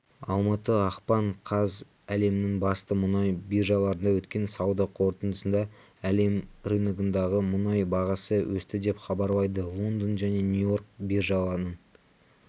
алматы ақпан қаз әлемнің басты мұнай биржаларында өткен сауда қортындысында әлем рыногындағы мұнай бағасы өсті деп хабарлайды лондон және нью-йорк биржаларының